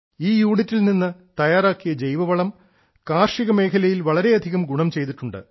ഈ യൂണിറ്റിൽ നിന്ന് തയ്യാറാക്കിയ ജൈവ വളം കാർഷിക മേഖലയിൽ വളരെയധികം ഗുണം ചെയ്തിട്ടുണ്ട്